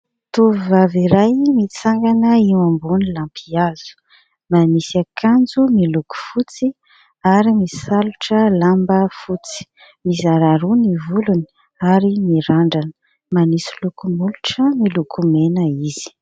Tovovavy iray mitsangana eo ambony lampihazo, manisy akanjo miloko fotsy ary misalotra lamba fotsy, mizara roa ny volony ary mirandrana manisy loko molotra miloko mena izy.